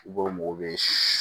I ko mɔgɔ bɛ